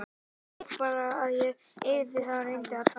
Ég veit bara að ég yrði það ef ég reyndi að dansa.